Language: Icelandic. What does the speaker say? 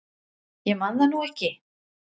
Ég man það nú ekki.